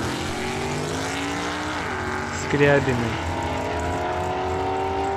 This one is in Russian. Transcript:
скрябиной